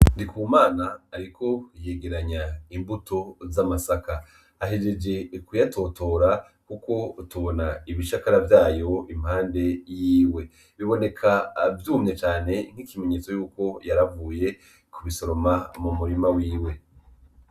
Ndikumana ariko arengeranya imbuto z'amasaka, ahejeje kuyatotora kuko tubona ibishakara vyayo impande yiwe, biboneka vyumye cane ikimenyotso c'uko yaravuye kubisoroma m'umurima wiwe.